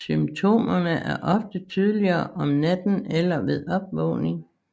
Symptomerne er ofte tydeligere om natten eller ved opvågning